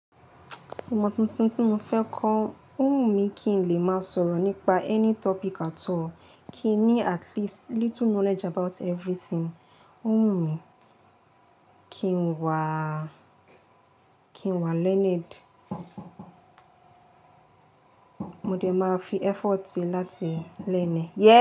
Ìmọ̀ tuntun tí mo fẹ́ kọ́. Ó wù mí kí n lè máa sọ̀rọ̀ nípa any topic at all, kí n ní at least little knowledge about everything. Ó wù mí kí n wàá, kí n wà learned. Modẹ máa fi effort ti láti learn e. Yeah.